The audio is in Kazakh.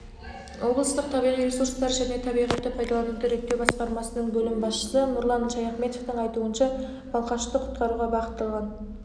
облыстық табиғи ресурстар және табиғатты пайдалануды реттеу басқармасының бөлім басшысы нұрлан шаяхметовтің айтуынша балқашты құтқаруға бағытталған